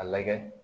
A lagɛ